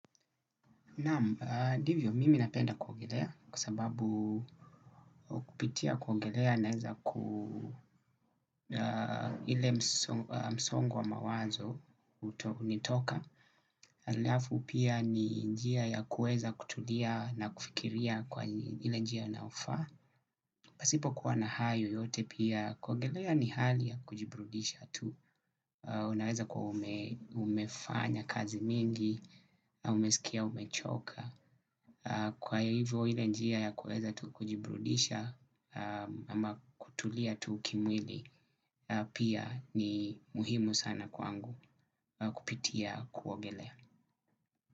Naam, divyo mimi napenda kuongelea kwasababu kupitia kuogelea naweza ku ile msongo wa mawazo unitoka. Alafu pia ni njia ya kueza kutulia na kufikiria kwa ile njia inayo faa. Pasipo kuwa na hayo yote pia kuogelea ni hali ya kujiburudisha tu. Unaweza kwa umefanya kazi mingi, umesikia, umechoka. Kwa hivyo ile njia ya kueza tu kujibrudisha ama kutulia tu kimwili pia ni muhimu sana kwangu kupitia kuogelea.